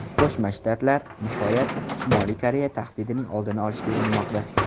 Qo‘shma Shtatlar, nihoyat, Shimoliy Koreya tahdidining oldini olishga urinmoqda.